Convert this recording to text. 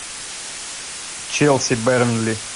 челси бернли